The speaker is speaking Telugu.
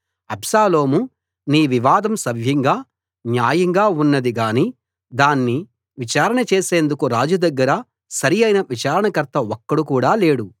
అబ్షాలోము నీ వివాదం సవ్యంగా న్యాయంగా ఉన్నది గానీ దాన్ని విచారణ చేసేందుకు రాజు దగ్గర సరి అయిన విచారణకర్త ఒక్కడు కూడా లేడు